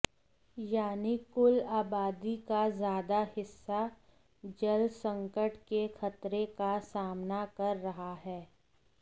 यानी कुल आबादी का ज़्यादा हिस्सा जलसंकट के खतरे का सामना कर रहा है